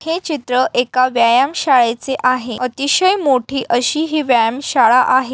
हे चित्र एका व्यायाम शाळेचे आहे अतिशय मोठी अशी ही व्यायाम शाळा आहे.